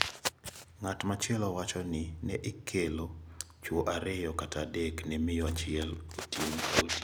Ng`at machielo wacho ni ne ikelo chwo ariyo kata adek ne miyo achiel otieno ka otieno.